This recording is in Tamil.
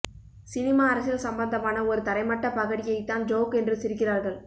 சினிமா அரசியல் சம்பந்தமான ஒரு தரைமட்டப் பகடியைத்தான் ஜோக் என்று சிரிக்கிறார்கள்